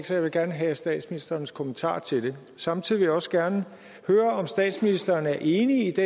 så jeg vil gerne have statsministerens kommentar til det samtidig også gerne høre om statsministeren er enig i det